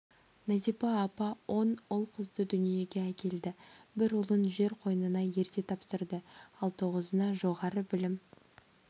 назипа апа он ұл-қызды дүниеге әкелді бір ұлын жер қойнына ерте тапсырды ал тоғызына жоғары білім